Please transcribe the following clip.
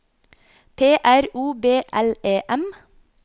P R O B L E M